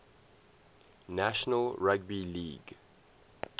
national rugby league